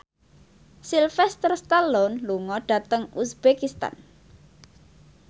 Sylvester Stallone lunga dhateng uzbekistan